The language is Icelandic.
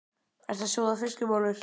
Ertu að sjóða þessar fiskbollur?